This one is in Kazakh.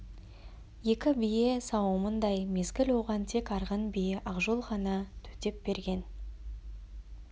екі бие сауымындай мезгіл оған тек арғын биі ақжол ғана төтеп берген